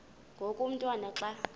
ngoku umotwana xa